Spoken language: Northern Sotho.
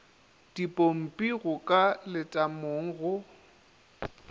dipompi go ka letamong go